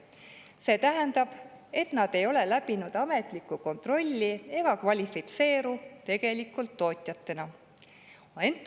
See tähendab, et nad ei ole läbinud ametlikku kontrolli ega kvalifitseeru tegelikult tootjateks.